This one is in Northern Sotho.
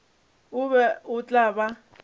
o be o tla ba